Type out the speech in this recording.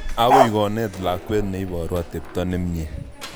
Akoi konet lakwet ne iporu atepto ne mye